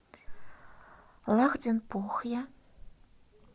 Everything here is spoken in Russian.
лахденпохья